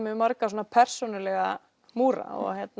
marga persónulega múra